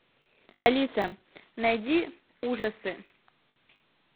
алиса найди ужасы